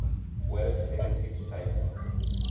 world heritage sites